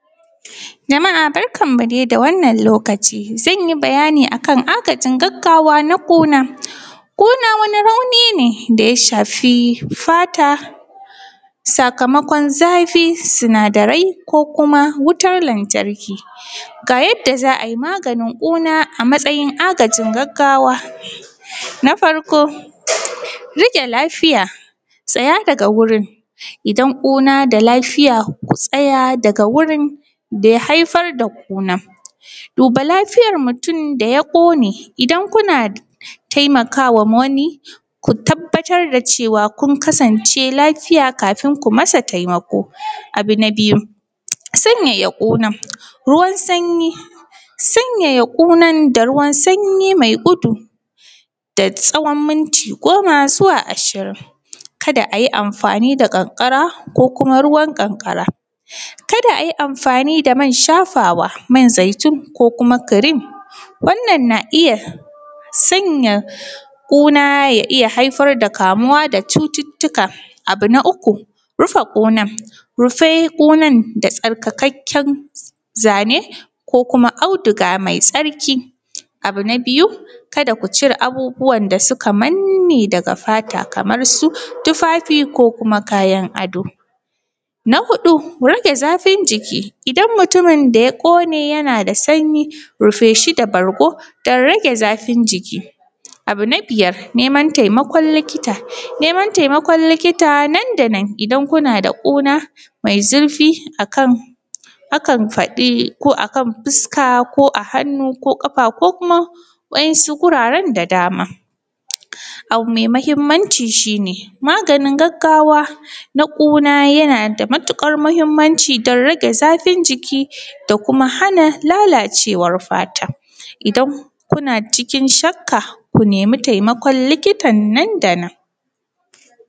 Jama’a barkanmu dai da wannan lokaci, zan yi bayani akan agajin gaggawa na ƙuna, kuna wani rauni ne da ya shafi fata sakamakon zafi sinadarai ko kuma wutar lantarki, ga yadda za a yi maganin ƙuna a matsayin agajin gaggawa, na farko rike lafiya tsaya daga wurin, idan kuna da lafiya ku tsaya daga wurin da ya haifar da kuna, duba lafiyar mutum da ya kone idan kuna taimakawa wani ku tabbatar da cewa kun kasance lafiya kafin kuyi masa taimako, abu na biyu sanyaya kunan ruwan sanyi sanyaya kunan da ruwan sanyi mai gudu da tsawan minti goma zuwa ashirin kada ayi amfani da kankara ko kuma ruwan kankara, kada ayi amfani da man shafawa man zaitun ko kuma cream wannan na iya sanya kuna ya iya haifar da kamuwa da cututtuka, abu na uku rufe kunan, rufe kunan da tsarkakekken zane ko kuma auduga mai tsarki, abu na biyu kada ku cire abubuwan da suka manne daga fata kamar su tufafi ko kuma kayan ado, bargo don rege zafin jiki, abu na biyar neman taimakon likita, neman taimakon likita nan da nan idan kuna da ƙuna mai zurfi akan faɗi ko akan fuska ko a hannu ko kafa ko kuma wasu wuraren da dama, abu mai muhimmanci shi ne maganin gaggawa na ƙuna yana da matukar muhimmanci don rage zafin jiki da kuma hana lalacewar fata, idan kuna cikin shakka ku nemi taimakon likita nan da nan.